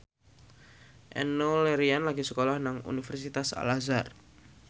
Enno Lerian lagi sekolah nang Universitas Al Azhar